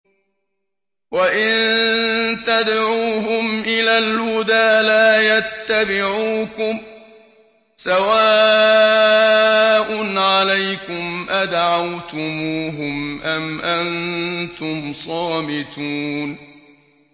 وَإِن تَدْعُوهُمْ إِلَى الْهُدَىٰ لَا يَتَّبِعُوكُمْ ۚ سَوَاءٌ عَلَيْكُمْ أَدَعَوْتُمُوهُمْ أَمْ أَنتُمْ صَامِتُونَ